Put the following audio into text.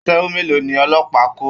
Aṣẹ́wó mélòó ni ọlọ́pàá kó!